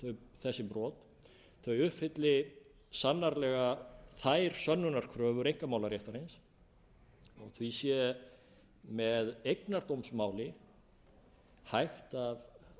um þessi brot uppfylli sannarlega þær sönnunarkröfur einkamálaréttarins og því sé með eignardómsmáli hægt af hálfu saksóknaravaldsins